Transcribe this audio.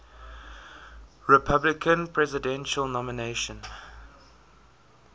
republican presidential nomination